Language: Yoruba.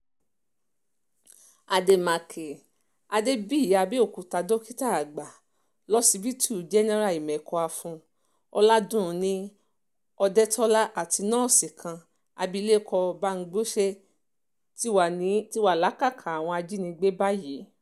àdèmàkè adébíyìàbẹ̀òkúta dókítà àgbà lọsibítù jẹ́nẹ́ra ìmẹ́kọ-afọ́n ọládúnni òdetọ́lá àti nọ́ọ̀sì kan abilékọ bámgbose ti wà lákàtà àwọn ajinígbé báyìí